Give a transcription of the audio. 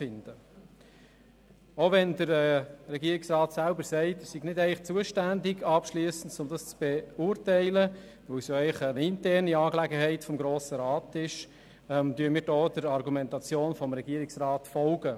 Auch wenn der Regierungsrat selber sagt, er sei eigentlich nicht dafür zuständig, dies abschliessend zu beurteilen, weil es eigentlich eine interne Angelegenheit des Grossen Rats sei, folgen wir hier der Argumentation des Regierungsrats.